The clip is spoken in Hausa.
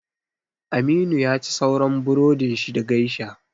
Aminu yaci sauran burodin shi da geisha